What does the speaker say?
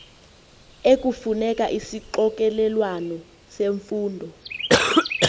ekufuneka isixokelelwano semfundo